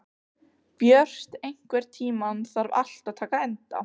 Björt, einhvern tímann þarf allt að taka enda.